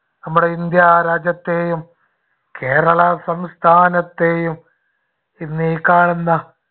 നമ്മുടെ ഇന്ത്യ രാജ്യത്തെയും കേരളാ സംസ്ഥാനത്തെയും ഇന്നീ കാണുന്ന